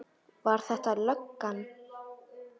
Var þetta löggan?